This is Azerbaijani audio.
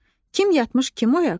Kim yatmış kim oyaq?